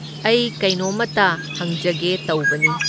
ꯑꯩ ꯀꯩꯅꯣꯝꯃꯇ ꯍꯪꯖꯒꯦ ꯇꯧꯕꯅꯤ꯫